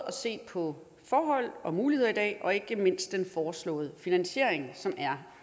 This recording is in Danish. at se på forhold og muligheder i dag og ikke mindst den foreslåede finansiering som er